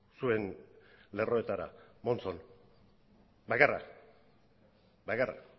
zuen lerroetara monzón bakarra bakarra